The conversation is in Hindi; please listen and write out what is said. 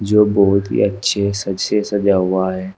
जो बहोत ही अच्छे सज से सजा हुआ है।